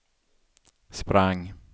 sprang